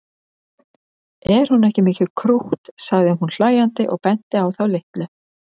Er hún ekki mikið krútt sagði hún hlæjandi og benti á þá litlu.